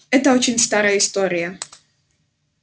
это очень старая история